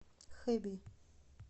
хэби